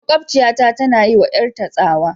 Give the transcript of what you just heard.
Makwabciyata tana yi wa 'yarta tsawa.